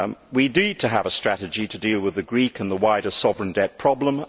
We need to have a strategy to deal with the Greek and the wider sovereign debt problem.